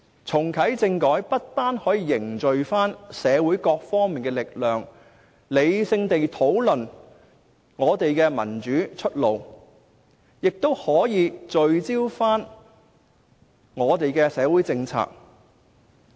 重啟政改不但可以凝聚社會各方面的力量，理性地討論我們的民主出路，也可以聚焦我們的社會政策。